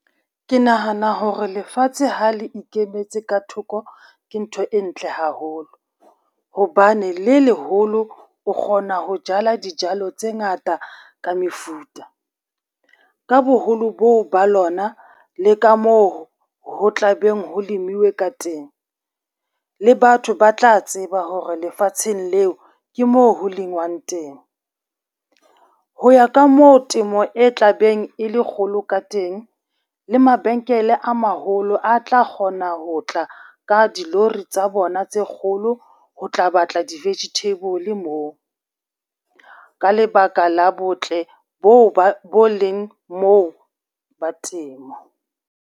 Ke nahana hore lefatshe ha le ikemetse ka thoko ke ntho e ntle haholo, hobane le leholo o kgona ho jala dijalo tse ngata ka mefuta. Ka boholo bo ba lona le ka moo ho tla beng ho lemiwe ka teng, le batho ba tla tseba hore lefatsheng leo ke moo ho lengwang teng. Ho ya ka moo temo e tlabeng e le kgolo ka teng, le mabenkele a maholo a tla kgona ho tla ka dilori tsa bona tse kgolo ho tla batla di-vegetable moo, ka lebaka la botle bo leng moo ba temo.